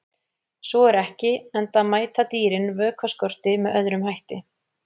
Svo er ekki, enda mæta dýrin vökvaskorti með öðrum hætti.